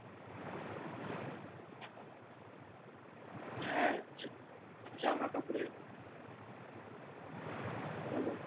হ্যাঁ জা~ জামা কাপড়ের বল বল